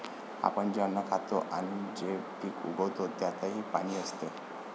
आपण जे अन्न खातो आणि जे पीक उगवतो त्यातही पाणी असते.